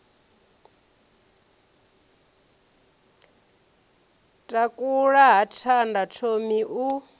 takula ha thanda thomi u